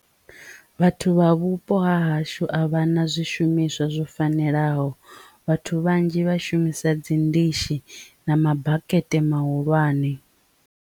Vhathu vha vhupo ha hashu a vha na zwishumiswa zwo fanelaho vhathu vhanzhi vhashumisa dzi ndishi na mabakete mahulwane.